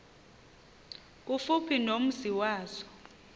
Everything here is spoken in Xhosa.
kufuphi nomzi wazo